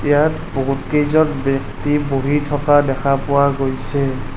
ইয়াত বহুত কেইজন ব্যক্তি বহি থকা দেখা পোৱা গৈছে।